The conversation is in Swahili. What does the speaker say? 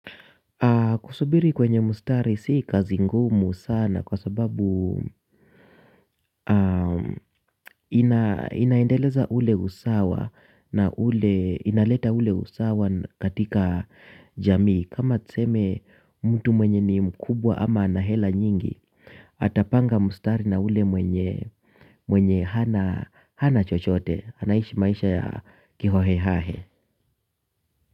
Kusubiri kwenye mstari si kazi ngumu sana kwa sababu inaendeleza ule usawa na ule inaleta ule usawa katika jamii kama tuseme mtu mwenye ni mkubwa ama ana hela nyingi atapanga mstari na ule mwenye mwenye hana hana chochote anaishi maisha ya kihohe hahe.